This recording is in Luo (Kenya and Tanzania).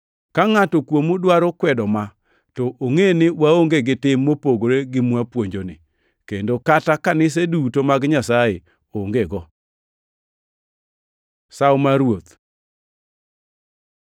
Ka ngʼato kuomu dwaro kwedo ma, to ongʼe ni waonge gi tim mopogore gi mwapuonjoni, kendo kata kanise duto mag Nyasaye ongego. Sawo mar Ruoth